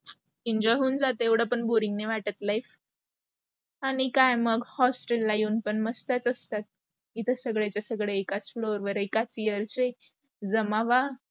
enjoy होऊन जाते एवढं पण boring नाही वाटत नाही life. आणि काय मग hostel ला येऊन पण मस्तच असतात. इथेच सगळे च्या सगळे एकाच floor वर, एकाच year चे जमावा